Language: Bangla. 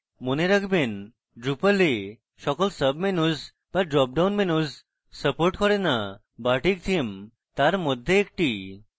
মনে রাখবেন drupal এ সকল sub menus বা dropdown menus support করে না bartik theme তার মধ্যে একটি